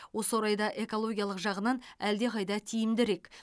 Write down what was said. осы орайда экологиялық жағынан әлдеқайда тиімдірек